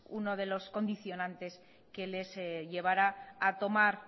uno de los condicionantes que les llevara a tomar